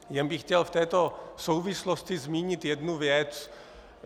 Jen bych chtěl v této souvislosti zmínit jednu věc.